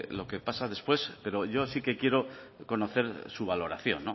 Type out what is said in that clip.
lo que pasa después pero yo sí que quiero conocer su valoración